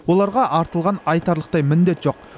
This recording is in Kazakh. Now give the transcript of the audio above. оларға артылған айтарлықтай міндет жоқ